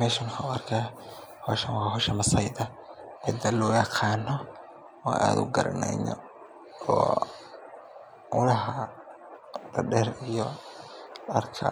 Meeshan waxaan arkaa howshan waa howsha masaayda, cida loo yaqaano oo aan aad ugaraneyno oo ulaha dadeer iyo darka